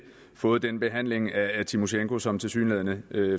fået den behandling af tymosjenko som tilsyneladende